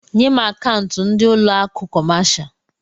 Nyé m akaụntu ndị ụlọ akụ kọmáshá